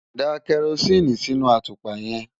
Da kẹrosíìnì sínú àtùpà yẹn.